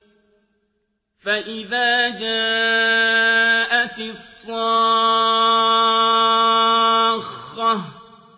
فَإِذَا جَاءَتِ الصَّاخَّةُ